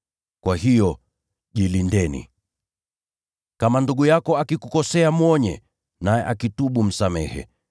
Kwa hiyo, jilindeni. “Kama ndugu yako akikukosea mwonye, naye akitubu, msamehe.